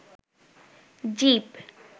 জীব